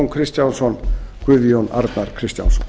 kristjánsson guðjón arnar kristjánsson